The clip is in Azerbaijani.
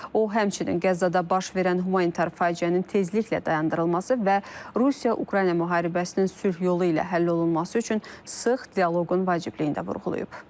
O həmçinin Qəzzada baş verən humanitar faciənin tezliklə dayandırılması və Rusiya-Ukrayna müharibəsinin sülh yolu ilə həll olunması üçün sıx dialoqun vacibliyini də vurğulayıb.